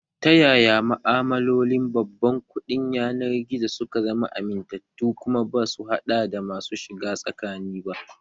Ta yaya ma'amalolin babban kuɗin yanar gizo suka zama amintattu kuma basu haɗa da masu shiga tsakani ba?